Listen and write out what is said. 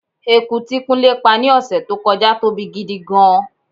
Eku tí kúnlé pá ni ọ̀sẹ̀ tó kọjá tóbi gidi gan-an.